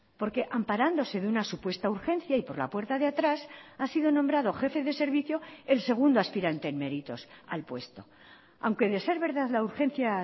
porque amparándose de una supuesta urgencia y por la puerta de atrás ha sido nombrado jefe de servicio el segundo aspirante en méritos al puesto aunque de ser verdad la urgencia